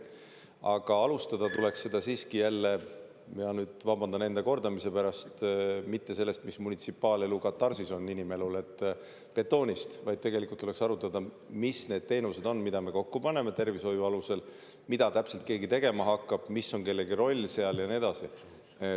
Aga alustada tuleks seda siiski jälle – ja nüüd vabandan enda kordamise pärast – mitte sellest, mis munitsipaalelu katarsis on inimelule, betoonist, vaid tegelikult tuleks arutada, mis need teenused on, mida me kokku paneme tervishoiu alusel, mida täpselt keegi tegema hakkab, mis on kellelegi roll ja nii edasi.